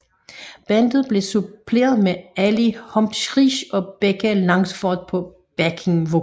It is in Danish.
Bandet blev suppleret med Ali Humphries og Becca Langsford på backing vokal